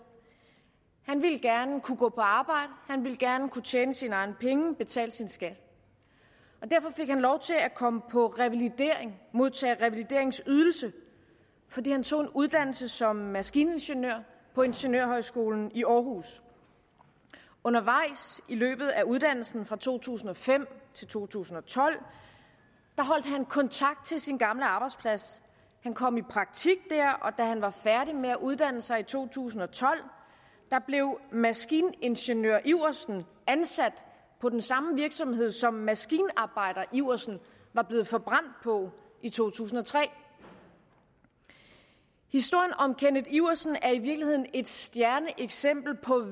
han ville gerne kunne gå på arbejde han ville gerne kunne tjene sine egne penge og betale sin skat derfor fik han lov til at komme på revalidering modtage revalideringsydelse fordi han tog en uddannelse som maskiningeniør på ingeniørhøjskolen i aarhus undervejs i løbet af uddannelsen fra to tusind og fem til to tusind og tolv holdt han kontakt til sin gamle arbejdsplads han kom i praktik der og da han var færdig med at uddanne sig i to tusind og tolv blev maskiningeniør iversen ansat på den samme virksomhed som maskinarbejder iversen var blevet forbrændt på i to tusind og tre historien om kenneth iversen er i virkeligheden et stjerneeksempel på